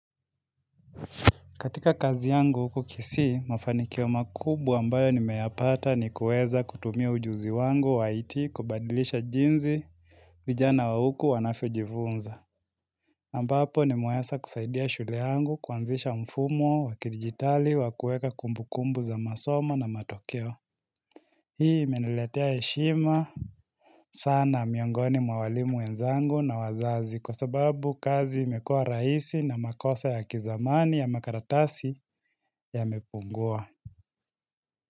Katika kazi yangu huku kisii, mafanikio makubwa ambayo nimeyapata ni kueza kutumia ujuzi wangu wa it kubadilisha jinsi vijana wa huku wanavyojifunza. Ambapo nimeweza kusaidia shule yangu kuanzisha mfumo wa kidijitali wakueka kumbu kumbu za masomo na matokeo. Hii imeneletea heshima sana miongoni mwa walimu wenzangu na wazazi kwa sababu kazi imekua raisi na makosa ya kizamani ya makaratasi yamepungua.